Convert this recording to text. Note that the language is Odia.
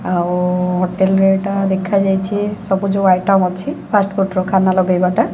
ହୋଟେଲ ରେ ଏଇଟା ଦେଖାଯାଇଛି ସବୁ ଯୋଉ ଆଇଟମ ଅଛି ଫାଷ୍ଟଫୁଡ୍ ର ଖାନ ଲଗେଇବା ଟା